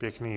Děkuji.